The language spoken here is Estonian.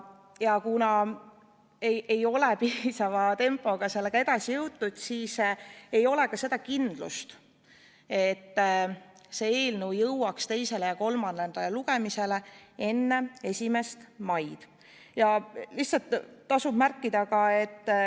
Kuna selle eelnõuga ei ole piisava tempoga edasi liigutud, siis ei ole ka kindlust, et see eelnõu jõuab teisele ja kolmandale lugemisele enne 1. maid.